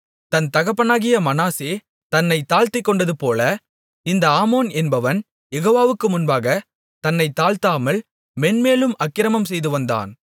தன் தகப்பனாகிய மனாசே தன்னைத் தாழ்த்திக்கொண்டதுபோல இந்த ஆமோன் என்பவன் யெகோவாவுக்கு முன்பாகத் தன்னைத் தாழ்த்தாமல் மேன்மேலும் அக்கிரமம் செய்துவந்தான்